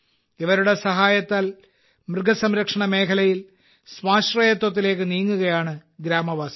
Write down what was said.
ഇവരുടെ സഹായത്താൽ മൃഗസംരക്ഷണ മേഖലയിൽ സ്വാശ്രയത്വത്തിലേക്ക് നീങ്ങുകയാണ് ഗ്രാമവാസികൾ